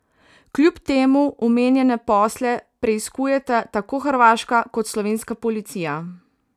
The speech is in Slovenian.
Kljub temu omenjene posle preiskujeta tako hrvaška kot slovenska policija.